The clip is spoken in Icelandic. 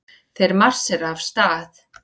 Þeir marsera af stað.